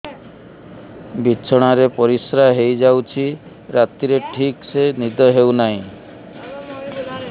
ବିଛଣା ରେ ପରିଶ୍ରା ହେଇ ଯାଉଛି ରାତିରେ ଠିକ ସେ ନିଦ ହେଉନାହିଁ